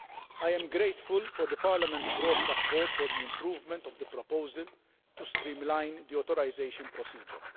I am grateful for Parliament's broad support for the improvement of the proposal to streamline the authorisation procedure.